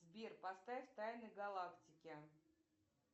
сбер поставь тайны галактики